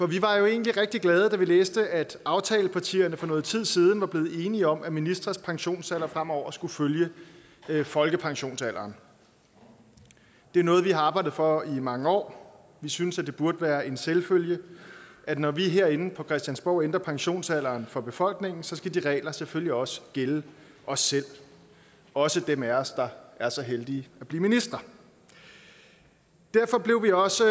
vi var jo egentlig rigtig glade da vi læste at aftalepartierne for noget tid siden var blevet enige om at ministres pensionsalder fremover skulle følge folkepensionsalderen det er noget vi har arbejdet for i mange år vi synes at det burde være en selvfølge at når vi herinde på christiansborg ændrer pensionsalderen for befolkningen skal de regler selvfølgelig også gælde os selv også dem af os der er så heldige at blive minister derfor blev vi også så